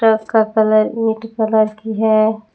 Truck का colour ईट colour की है।